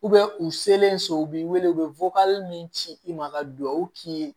u selen so u b'i wele u bɛ min ci i ma ka dugawu k'i ye